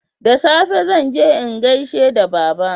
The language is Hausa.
da safe zanje in gaishe da baba